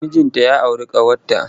Mijinta ya auru ƙawarta.